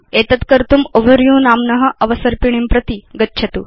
एतद् कर्तुं ओवरव्यू नाम्न अवसर्पिणीं प्रति गच्छतु